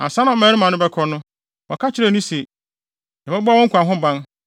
Ansa na mmarima no bɛkɔ no, wɔka kyerɛɛ no se, “Yɛbɛbɔ mo nkwa ho ban